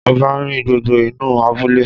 Ọba rin gbogbo inú abúlé